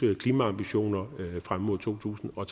klimaambitioner frem mod totusinde og